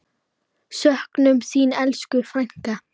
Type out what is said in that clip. Söknum þín, elsku frænka.